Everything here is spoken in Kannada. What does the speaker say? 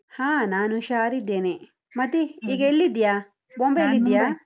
ಹಾ ನಾನು ಹುಷಾರಿದ್ದೇನೆ, ಮತ್ತೆ ಈಗ ಎಲ್ಲಿದ್ದೀಯಾ? .